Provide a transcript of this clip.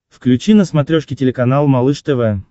включи на смотрешке телеканал малыш тв